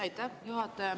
Aitäh, juhataja!